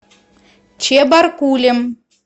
чебаркулем